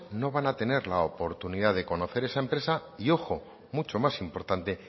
no van a tener la oportunidad de conocer esa empresa y ojo mucho más importante